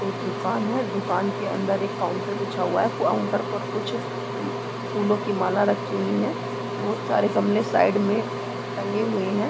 एक दुकान है दुकान के अंदर एक काउंटर बिछा हुआ है काउंटर पर कुछ फूलों की माला राखी हुए हैं बोहोत सारे गमले साइड में टंगे हुए हैं।